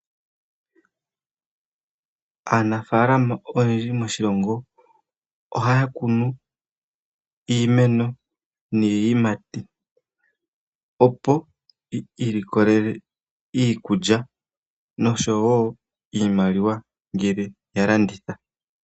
Aanafalama oyendji moshilongo, ohaya kunu iimeno niiyimati, opo yi ilikolele iikulya, noshowo iimaliwa ngele ya landitha.